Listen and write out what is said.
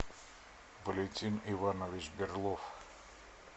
валентин иванович берлов